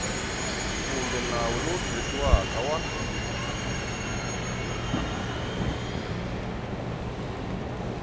kumbe nawu lowu tirhisiwaka wa